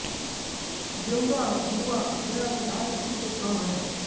देऊरा गुरुआ गया बिहार स्थित एक गाँव है